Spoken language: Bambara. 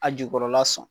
A jukɔrɔla sɔn